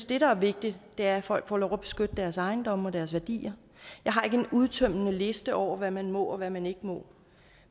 det der er vigtigt er at folk får lov at beskytte deres ejendomme og deres værdier jeg har ikke en udtømmende liste over hvad man må og hvad man ikke må